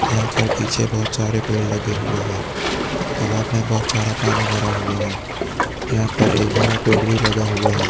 यहाँ पर पीछे बहुत सारे पेड़ लगे हुए है तालाब में बहुत सारा पानी भरा हुआ हैयहाँ पर एक बड़ा पेड़ भी लगा हुआ हैं।